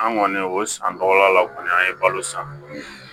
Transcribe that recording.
An kɔni o san tɔgɔla law kɔni an ye balo san